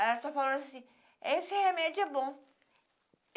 Ela só falou assim, esse remédio é bom.